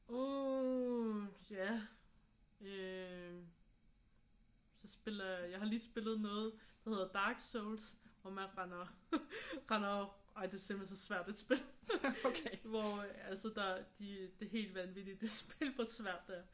Uh ja øh så spiller jeg har lige spillet noget der hedder Dark Souls hvor man render render ej det er simpelthen så svært et spil hvor altså der de det er helt vanvittigt det spil hvor svært det er